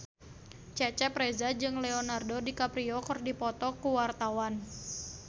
Cecep Reza jeung Leonardo DiCaprio keur dipoto ku wartawan